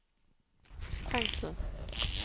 fengsel